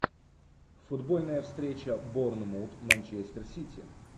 футбольная встреча борнмут манчестер сити